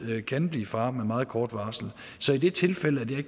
kan blive far med meget kort varsel så i det tilfælde at jeg